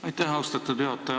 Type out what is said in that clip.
Aitäh, austatud juhataja!